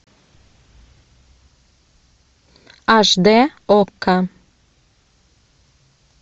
аш дэ окко